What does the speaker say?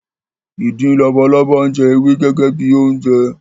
Ìdin labalábá ń jẹ ewé gẹ́gẹ́ bi oúnjẹ